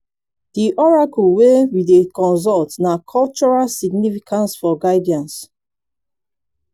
di oracle wey we dey consult na cultural significance for guidance